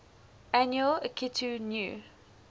annual akitu new